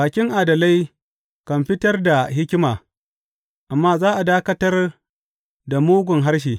Bakin adalai kan fitar da hikima, amma za a dakatar da mugun harshe.